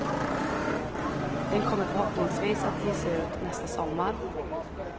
Den kommer förhoppningsvis att ges ut nästa sommar.